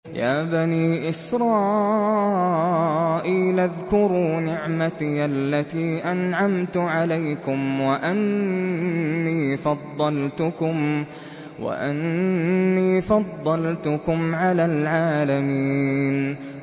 يَا بَنِي إِسْرَائِيلَ اذْكُرُوا نِعْمَتِيَ الَّتِي أَنْعَمْتُ عَلَيْكُمْ وَأَنِّي فَضَّلْتُكُمْ عَلَى الْعَالَمِينَ